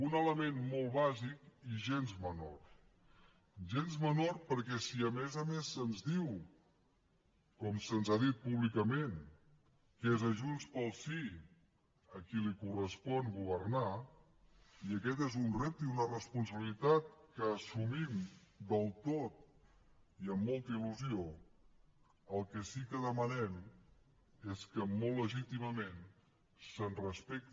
un element molt bàsic i gens menor gens menor perquè si a més a més se’ns diu com se’ns ha dit públicament que és a junts pel sí a qui correspon governar i aquest és un repte i una responsabilitat que assumim del tot i amb molta il·lusió el que sí que demanem és que molt legítimament se’ns respecti